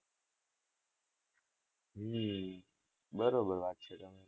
હમ બરોબર વાત છે તમારી.